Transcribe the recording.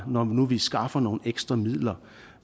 når nu vi skaffer nogle ekstra midler